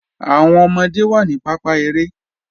Awọn ọmọde wa ni pàpá èrè.